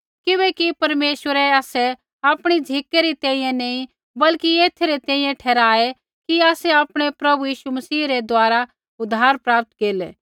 किबैकि परमेश्वरै आसै आपणी झ़िकै री तैंईंयैं नी बल्कि एथै री तैंईंयैं ठहराऐ कि आसै आपणै प्रभु यीशु मसीह रै द्वारा उद्धार प्राप्त केरलै